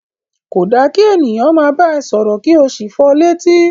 Ko da ki ènìyàn máa bá ẹ sọ̀rọ̀ ki o sí fọ létí.